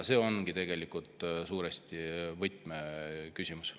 See ongi tegelikult suuresti võtmeküsimus.